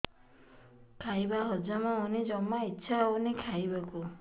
ଖାଇବା ହଜମ ହଉନି ଜମା ଇଛା ହଉନି ଖାଇବାକୁ